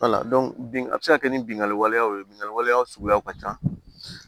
bin a bi se ka kɛ ni bingani waleyaw ye binganni waleyaw suguyaw ka ca